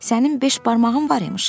Sənin beş barmağın var imiş ki?